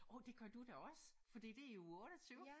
Hov det gør du da også fordi det er i uge 28